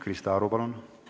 Krista Aru, palun!